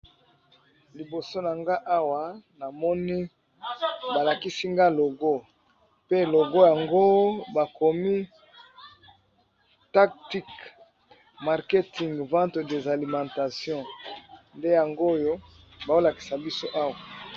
Liboso nangai Awa balakisi ngai logo pe logo yango bakomi taktik marketing vente de l' alimentation ndeyango bazolakisa yango Awa.